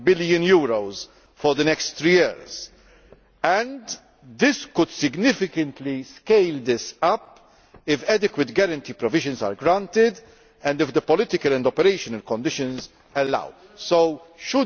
billion for the next three years and could significantly scale this up if adequate guarantee provisions are granted and if the political and operational conditions allow it.